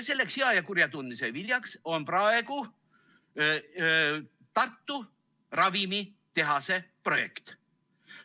Selleks hea ja kurja tundmise viljaks on praegu Tartu ravimitehase projekt.